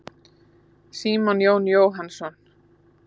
Símon Jón Jóhannsson.